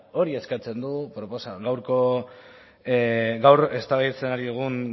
hori eskatzen du gaur eztabaidatzen ari dugun